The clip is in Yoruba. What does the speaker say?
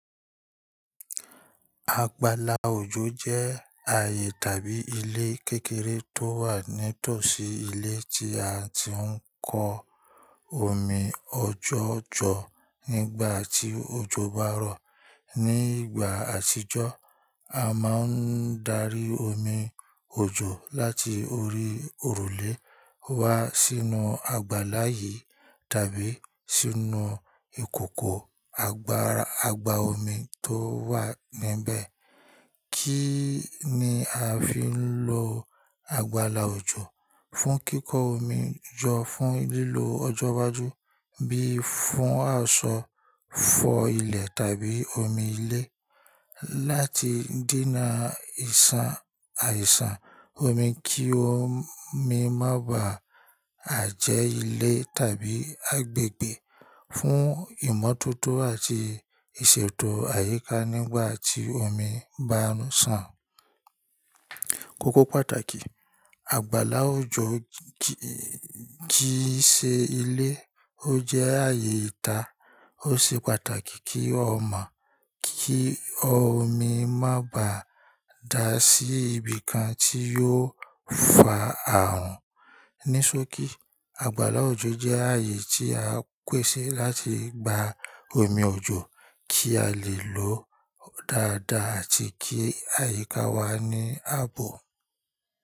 Àgbàlá òjò jẹ́ ààyè tàbí ilé kékeré tó wà nítòsí ilé tí a ti ń kó omi ọjọ́ jọ nígbà tí òjò bá rọ̀. Ní ìgbà àtijọ́, a máa ń darí omi òjò láti orí òrùlé wá sínú àgbàlá yìí tàbí sínú ìkòkò àgbàra àgbà omi tó wà níbẹ̀. Kí ni a fi ń lo àgbàlá òjò? Fún kíko omi jó fún lílò ọjọ́ iwájú bí fún àsọ, fọ ilẹ̀ tàbí omi ilé. Láti dína ìsan àìsàn omi kí omi má bá à jẹ́ ilé tàbí agbègbè. Fún ìmọ́tótó àti ìṣètò àyíká nígbà tí omi bá ń sàn. Kókó pàtàkì, àgbàlá òjò jíṣe ilé ó jẹ́ ààyè ìta. Ó ṣe pàtàkì kí o mọ̀ kí omi má bá dà sí ibìkan tí yóò fà àrùn. Nisoki, àgbàlá òjò jẹ́ ààyè tí a pèsè láti gba omi òjò kí a lè lòó dáadáa àti kí àyíká wa ní ààbò.